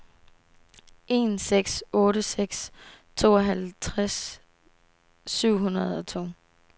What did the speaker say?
en seks otte seks tooghalvtreds syv hundrede og to